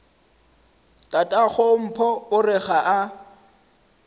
tatagompho o re ga a